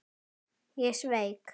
Ég sveik.